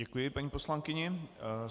Děkuji paní poslankyni.